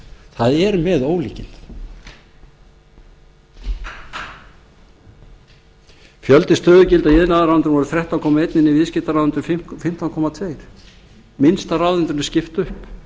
það er með ólíkindum fjöldi stöðugilda í iðnaðarráðuneytinu voru þrettán komma eitt en í viðskttparáðuneytinu fimmtán komma tvö minnsta ráðuneytinu er skipt upp